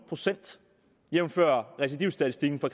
jævnfør recidivstatistikken for